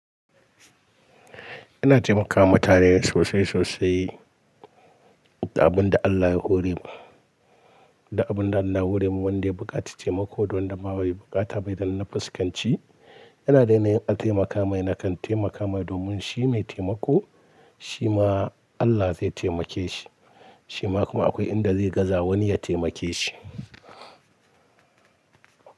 Ina taimakawa mutane sosai sosai da abin da Allah ya hore man, da abin da Allah ya hore man wanda ya buƙaci taimako da wanda ma bai buƙata ba idan na fuskanci yana dai yinayin taimaka mai na kan taimaka mai domin shi mai taimako shi ma Allah zai taimake shi, shi ma kuma akwai inda zai gaza wani ya taimake shi.